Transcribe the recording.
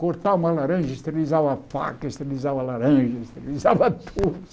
Cortar uma laranja, esterilizava uma faca, esterilizava uma laranja, esterilizava tudo.